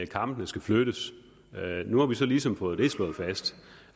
kampene skal flyttes nu har vi så ligesom fået det slået fast